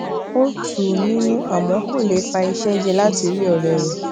ó tu u ninu àmó kò lè pa iṣé jẹ lati ri òré rè